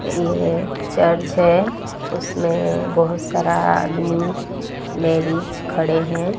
ये चर्च है उसमें बहुत सारा आदमी लेडीज खड़े हैं।